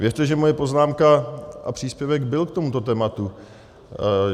Věřte, že moje poznámka a příspěvek byl k tomuto tématu.